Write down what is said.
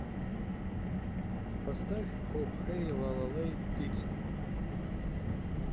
поставь хоп хэй лала лэй пицца